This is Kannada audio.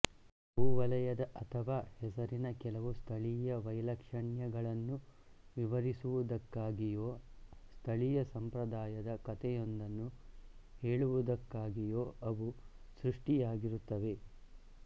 ಭೂವಲಯದ ಅಥವಾ ಹೆಸರಿನ ಕೆಲವು ಸ್ಥಳೀಯ ವೈಲಕ್ಷಣ್ಯಗಳನ್ನು ವಿವರಿಸುವುದಕ್ಕಾಗಿಯೊ ಸ್ಥಳೀಯ ಸಂಪ್ರದಾಯದ ಕಥೆಯೊಂದನ್ನು ಹೇಳುವುದಕ್ಕಾಗಿಯೊ ಅವು ಸೃಷ್ಟಿಯಾಗಿರುತ್ತವೆ